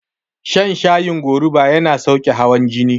Shan shayin goruba yana sauke hawan jini